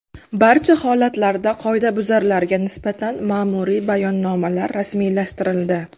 Barcha holatlarda qoidabuzarlarga nisbatan ma’muriy bayonnomalar rasmiylashtirildi.